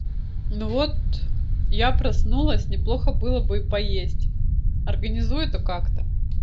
ну вот я проснулась не плохо было бы и поесть организуй это как то